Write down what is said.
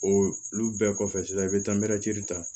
O olu bɛɛ kɔfɛ sisan i bɛ taa ta